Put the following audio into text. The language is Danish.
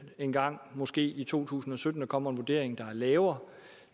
engang måske i to tusind og sytten kommer en vurdering der er lavere